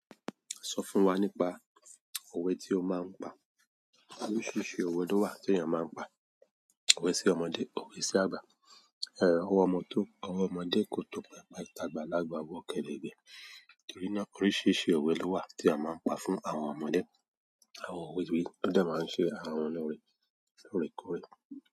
Sọ fún wa nípa òwe tí o máa ń pa. Oríṣiríṣi òwe ló wà tí ènìyàn máa ń pa. Òwe sí ọmọdé, òwe sí àgbà, ẹ̀, ọwọ́ ọmọ tó, ọwọ́ ọmọdé kò tó pẹpẹ, tagbalagba, o wọ́ kèrègbẹ́. Torí náà oríṣiríṣi òwe ló wà tí a máa ń pa fún àwọn ọmọdé. Àwọn òwe yi wọ́n dẹ máa ń ṣe àwọn ọmọ loore lóòrèkóòrè.